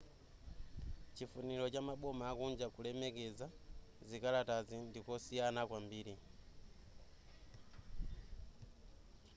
chifuniro cha maboma akunja kulemekeza zikalatazi ndikosiyana kwambiri